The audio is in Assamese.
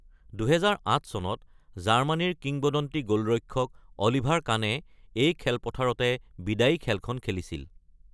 ২০০৮ চনত জাৰ্মানীৰ কিংবদন্তি গ’লৰক্ষক অলিভাৰ কানে এই খেলপথাৰতে বিদায়ী খেলখন খেলিছিল।